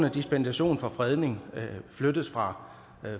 at dispensation for fredning flyttes fra